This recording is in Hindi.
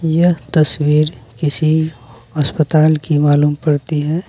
यह तस्वीर किसी अस्पताल की मालूम पड़ती है।